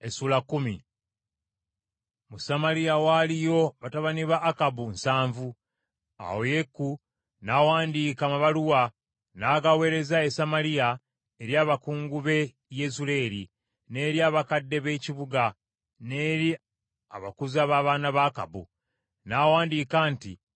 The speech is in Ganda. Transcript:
Mu Samaliya waaliyo batabani ba Akabu nsanvu. Awo Yeeku n’awandiika amabaluwa n’agaweereza e Samaliya eri abakungu b’e Yezuleeri, n’eri abakadde ab’ekibuga, n’eri abakuza b’abaana ba Akabu. N’awandiika nti,